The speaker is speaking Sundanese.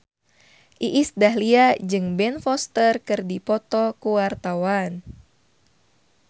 Iis Dahlia jeung Ben Foster keur dipoto ku wartawan